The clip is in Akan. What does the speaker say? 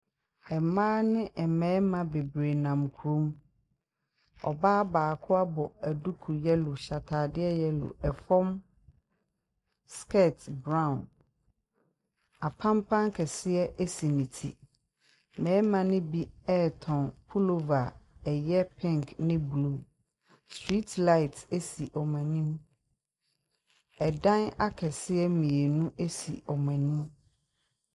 Mmea ne mmarima bebree nam kurom ɔbaa baako abɔ duku yɛlo ɔhyɛ ataadeɛ yɛlo ɛfom skirt brown apanpan kɛseɛ ɛsi no tire mmarima nobi tɔn pulova ɛyɛ pink ne green street light si wɔn anim ɛdan kɛseɛ mmienu sie wɔn anim.